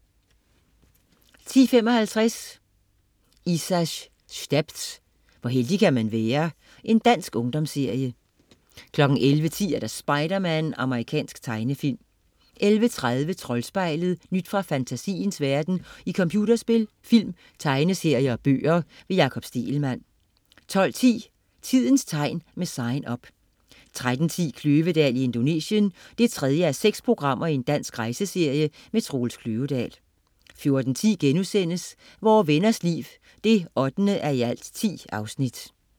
10.55 Isas stepz. Hvor heldig kan man være? Dansk ungdomsserie 11.10 Spider-Man. Amerikansk tegnefilm 11.30 Troldspejlet. Nyt fra fantasiens verden i computerspil, film, tegneserier og bøger. Jakob Stegelmann 12.10 Tidens tegn, med Sign Up 13.10 Kløvedal i Indonesien 3:6. Dansk rejseserie. Troels Kløvedal 14.10 Vore Venners Liv 8:10*